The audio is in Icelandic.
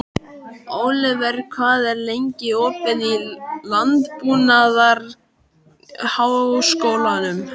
Oliver, hvað er lengi opið í Landbúnaðarháskólanum?